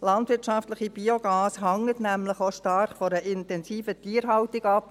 Landwirtschaftliches Biogas hängt nämlich auch stark von einer intensiven Tierhaltung ab.